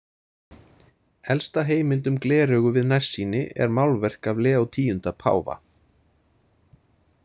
Elsta heimild um gleraugu við nærsýni er málverk af Leó X páfa.